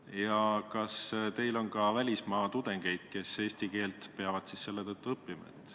Ja kas teil on ka välismaa tudengeid, kes eesti keelt peavad õppima?